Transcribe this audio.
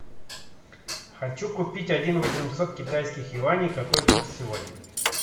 хочу купить один восемьсот китайских юаней какой курс сегодня